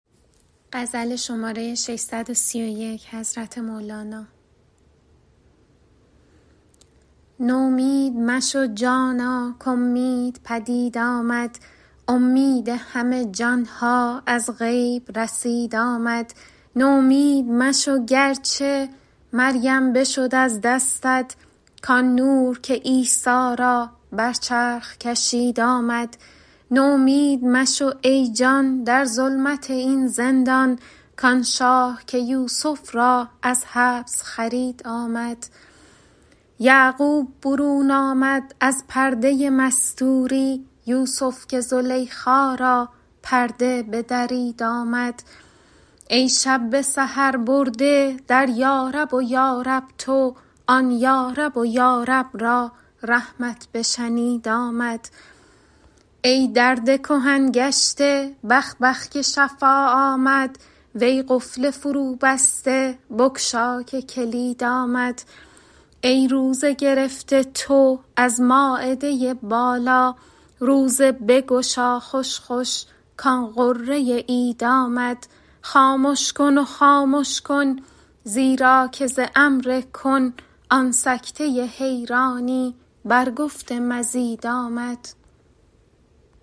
نومید مشو جانا کاومید پدید آمد اومید همه جان ها از غیب رسید آمد نومید مشو گر چه مریم بشد از دستت کآن نور که عیسی را بر چرخ کشید آمد نومید مشو ای جان در ظلمت این زندان کآن شاه که یوسف را از حبس خرید آمد یعقوب برون آمد از پرده مستوری یوسف که زلیخا را پرده بدرید آمد ای شب به سحر برده در یارب و یارب تو آن یارب و یارب را رحمت بشنید آمد ای درد کهن گشته بخ بخ که شفا آمد وی قفل فروبسته بگشا که کلید آمد ای روزه گرفته تو از مایده بالا روزه بگشا خوش خوش کآن غره عید آمد خامش کن و خامش کن زیرا که ز امر کن آن سکته حیرانی بر گفت مزید آمد